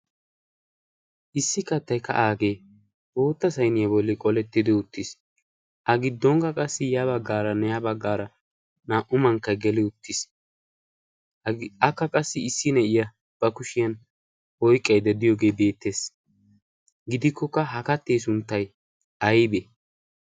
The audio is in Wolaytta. issi kattay kaaagee bootta sayniyaa bolli qolettidi uttiis a giddonkka qassi ya baggaaranne ha baggaara naa''u mankkay geli uttiis akka qassi issi na'iya ba kushiyan oyqqaide diyoogee beettees gidikkokka ha kattee sunttay aybe